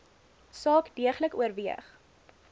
saak deeglik oorweeg